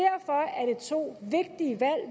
to vigtige valg